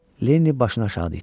Lenni başını aşağı didi.